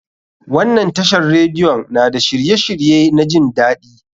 Wannan tashar radiyon na da shirye shirye na jin daɗi.